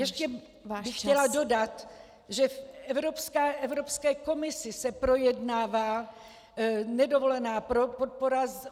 Ještě bych chtěla dodat, že v Evropské komisi se projednává nedovolená podpora -